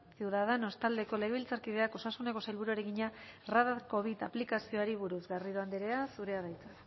ciudadanos taldeko legebiltzarkideak osasuneko sailburuari egina radar covid aplikazioari buruz garrido andrea zurea da hitza